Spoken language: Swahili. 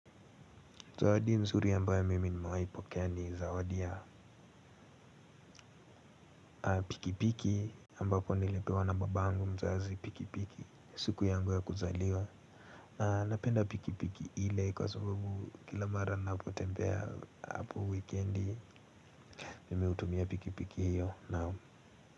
Zawadi nzuri ambayo mimi nimewahipokea ni zawadi ya pikipiki ambapo nilipewa na babangu mzazi pikipiki siku yangu ya kuzaliwa. Na napenda pikipiki hile kwa sababu kila mara ninapotembea hapo wikendi. Mimi hutumia pikipiki hiyo na.